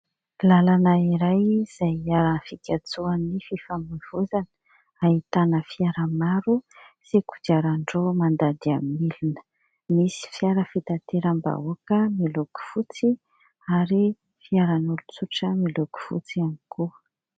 Lalana iray izay fikatsoan'ny fifamoivoizana. Ahitana fiara maro sy kodiaran-droa mandady amin'ny milina ; misy fiara fitateram-bahoaka miloko fotsy ary fiaran'olon-tsotra miloko fotsy ihany koa.